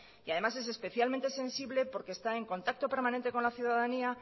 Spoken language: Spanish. y además es especialmente sensible porque está en contacto permanente con la ciudadanía